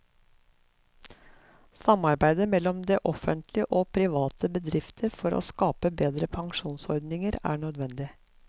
Samarbeid mellom det offentlig og private bedrifter for å skape bedre pensjonsordninger er nødvendig.